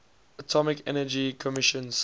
atomic energy commission